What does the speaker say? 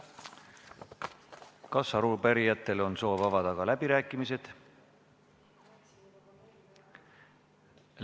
Kas arupärijatel on soovi avada läbirääkimised?